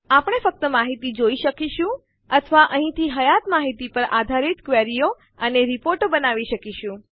આપણે ફક્ત માહિતી જોઈ શકીશું અથવા અહીંથી હયાત માહિતી પર આધારિત ક્વેરીઓ અને રીપોર્ટો અહેવાલો બનાવી શકીશું